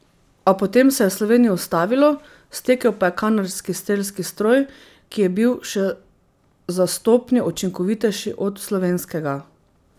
A potem se je Sloveniji ustavilo, stekel pa je kanadski strelski stroj, ki je bil še za stopnjo učinkovitejši od slovenskega.